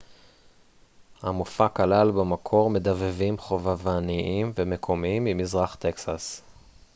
המופע כלל במקור מדבבים חובבניים ומקומיים ממזרח טקסס